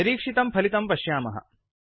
निरीक्षितम् फलितं पश्यामः